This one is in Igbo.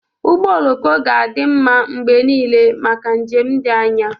Ụgbọ oloko ga-adị mma mgbe niile maka njem dị anya.